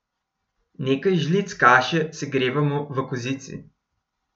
Nekaj žlic kaše segrevamo v kozici.